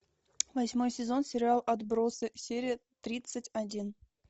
восьмой сезон сериал отбросы серия тридцать один